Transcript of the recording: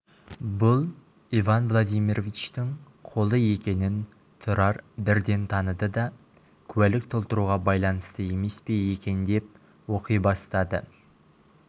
бұл иван владимировичтің қолы екенін тұрар бірден таныды да куәлік толтыруға байланысты емес пе екен деп оқи бастады